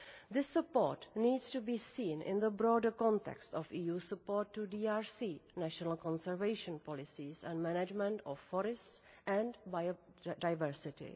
This support needs to be seen in the broader context of EU support to DRC national conservation policies and management of forests and biodiversity.